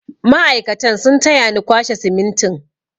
Mai'aikatan sun taya ni kwashe simintin.